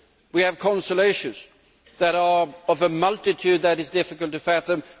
We have consular issues that are of a multitude that is difficult to fathom.